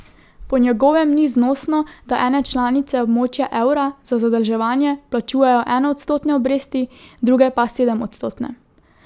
Po njegovem ni znosno, da ene članice območja evra za zadolževanje plačujejo enoodstotne obresti, druge pa sedemodstotne.